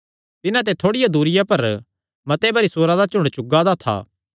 तिन्हां ते थोड़िया दूरिया पर मते भरी सूअरां दा झुंड चुगा दा था